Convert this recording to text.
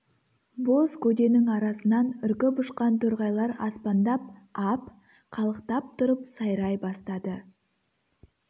боз көденің арасынан үркіп ұшқан торғайлар аспандап ап қалықтап тұрып сайрай бастады